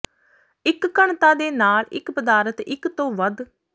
ਇੱਕ ਘਣਤਾ ਦੇ ਨਾਲ ਇੱਕ ਪਦਾਰਥ ਇੱਕ ਤੋਂ ਵੱਧ